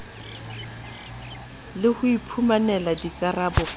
le ho iphumanela dikarabo ka